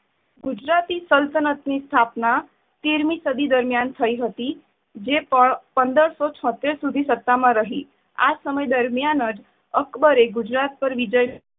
ગુજરાતી સલ્તનતની સ્થાપના તેર મી સદી દરમિયાન થઇ હતી. જે પણ પંદર શો છોતેર શુધી સતા માં રહી. આ સમય દરમિયાન જ અકબરે ગુજરાત પર વિજય